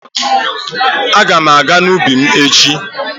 Aga m aga n'ubi m echi.